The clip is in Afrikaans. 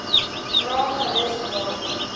vra gerus waarom